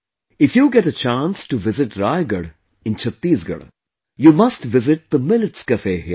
If you get a chance to visit Raigarh in Chhattisgarh, you must visit the Millets Cafe here